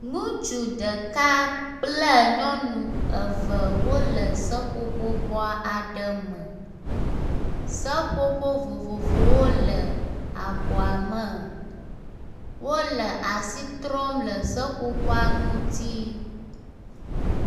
Ŋutsu ɖek kple nyɔnu eve wo le seƒoƒobɔ aɖe me. seƒoƒo vovovowo le abɔa me. Wo le asi trɔm le seƒoƒoa ŋuti.